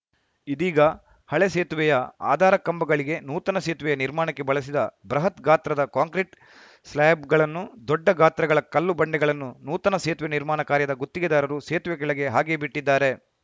ಇದೀಗ ಹಳೆ ಸೇತುವೆಯ ಆಧಾರ ಕಂಬಗಳಿಗೆ ನೂತನ ಸೇತುವೆಯ ನಿರ್ಮಾಣಕ್ಕೆ ಬಳಿಸಿದ ಬೃಹತ್‌ ಗಾತ್ರದ ಕಾಂಕ್ರಿಟ್‌ ಸ್ಲ್ಯಾಬ್‌ಗಳು ದೊಡ್ಡ ಗಾತ್ರಗಳ ಕಲ್ಲು ಬಂಡೆಗಳನ್ನು ನೂತನ ಸೇತುವೆ ನಿರ್ಮಾಣ ಕಾರ್ಯದ ಗುತ್ತಿಗೆದಾರರು ಸೇತುವೆ ಕೆಳಗೆ ಹಾಗೇ ಬಿಟ್ಟಿದ್ದಾರೆ